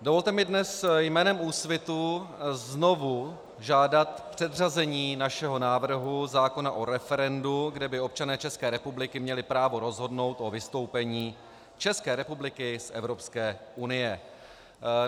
Dovolte mi dnes jménem Úsvitu znovu žádat předřazení našeho návrhu zákona o referendu, kde by občané České republiky měli právo rozhodnout o vystoupení České republiky z Evropské unie.